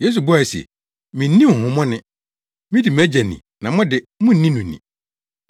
Yesu buae se, “Minni honhommɔne. Midi mʼAgya ni na mo de, munni no ni.